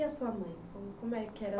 E a sua mãe? Como como é que era...